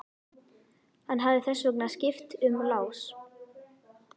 Hann hefði þess vegna skipt um lás.